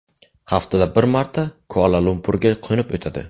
Haftada bir marta Kuala-Lumpurga qo‘nib o‘tadi.